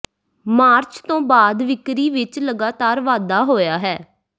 March ਤੋਂ ਬਾਅਦ ਵਿਕਰੀ ਵਿਚ ਲਗਾਤਾਰ ਵਾਧਾ ਹੋਇਆ ਹੈ